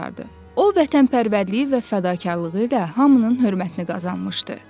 O vətənpərvərliyi və fədakarlığı ilə hamının hörmətini qazanmışdı.